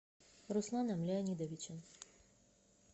русланом леонидовичем